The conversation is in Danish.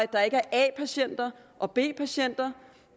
der ikke er a patienter og b patienter